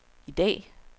i dag